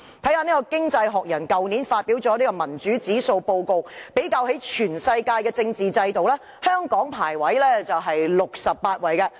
翻看《經濟學人》去年發表的民主指數報告，比較全世界的政治制度，香港的排名為68位。